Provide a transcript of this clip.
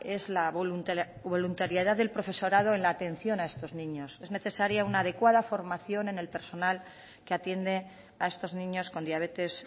es la voluntariedad del profesorado en la atención a estos niños es necesaria una adecuada formación en el personal que atiende a estos niños con diabetes